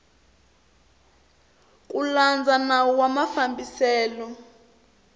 ku landza nawu wa mafambiselo